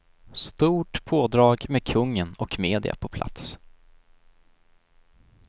Stort pådrag med kungen och media på plats.